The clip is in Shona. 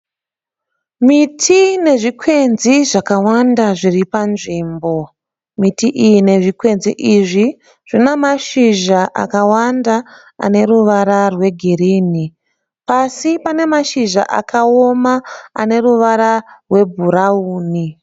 Miti nezvikwenzi zvakawanda zviri panzvimbo. Miti iyi nezvikwenzi izvi zvina mashizha akawanda ane ruvara rwegirinhi. Pasi pane mashizha akaoma ane ruvara rwebhurawuni.